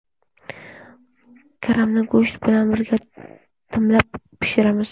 Karamni go‘sht bilan birga dimlab pishiramiz.